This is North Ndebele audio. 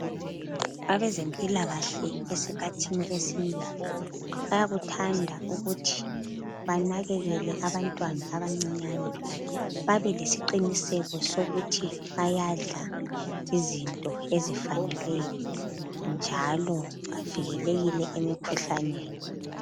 Abezempilakahle esikhathini esinengi bayakuthanda ukuthi banakekele abantwana abancinyane babe lesiqiniseko sokuthi bayadla izinto ezifaneleyo njalo bavikelekile emikhuhlaneni.